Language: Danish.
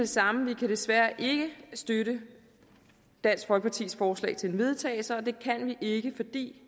samme vi kan desværre ikke støtte dansk folkepartis forslag til vedtagelse og det kan vi ikke fordi